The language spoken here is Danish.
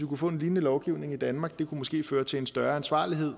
kunne få en lignende lovgivning i danmark og måske føre til en større ansvarlighed